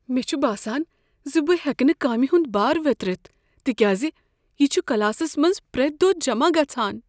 مےٚ چھ باسان زِ بہٕ ہٮ۪کہٕ نہٕ کامہ ہند بار ویترِتھ تکیازِ یِہ چھ کلاسس منٛز پرٮ۪تھ دۄہ جمع گژھان۔